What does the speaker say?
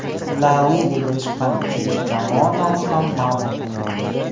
La Ligaga chiqqan uchinchi jamoa nomi ham ma’lum bo‘ldi.